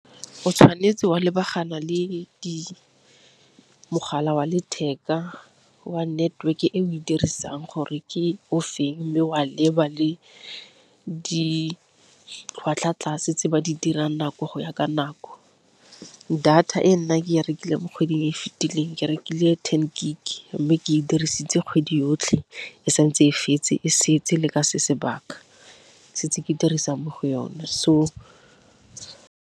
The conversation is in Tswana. o tshwanetse wa lebagana le mogala wa letheka wa network-e o e dirisang gore ke o feng, mme wa leba le ditlhwatlhwa tlase tse ba di dirang nako go ya ka nako. Data e nna ke e rekileng mo kgweding e fitileng ke rekile ten gig, mme ke e dirisitse kgwedi yotlhe e sa ntse e setse le ka se sebaka setse ke dirisang mo go yone so.